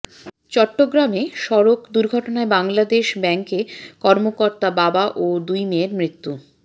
চট্টগ্রামে সড়ক দুর্ঘটনায় বাংলাদেশ ব্যাংক কর্মকর্তা বাবা ও দুই মেয়ের মৃত্যু